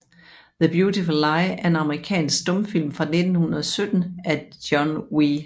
The Beautiful Lie er en amerikansk stumfilm fra 1917 af John W